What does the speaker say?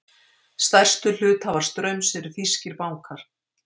Stærstu hluthafar Straums eru þýskir bankar